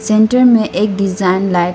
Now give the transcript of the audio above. centre में एक design light --